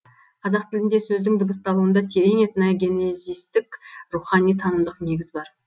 қазақ тілінде сөздің дыбысталуында терең этногенезистік рухани танымдық негіз бар